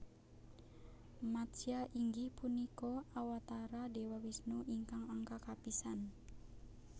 Matsya inggih punika Awatara Dewa Wisnu ingkang angka kapisan